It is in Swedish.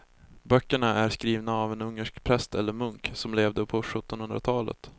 Böckerna är skrivna av en ungersk präst eller munk som levde på sjuttonhundratalet.